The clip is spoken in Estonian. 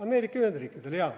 Ameerika Ühendriikidele, jaa.